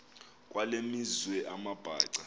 kwale meazwe amabhaca